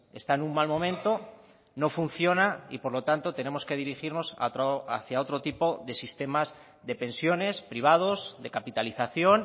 está en un mal momento no funciona y por lo tanto tenemos que dirigirnos hacia otro tipo de sistemas de pensiones privados de capitalización